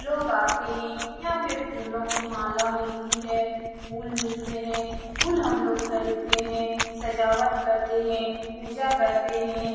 लोग आते है । यहाँ पर फूलो की माला मिलती है । फूल मिलते है । फूल हम लोग खरीदते है । सजावट करते है । पूजा करते है ।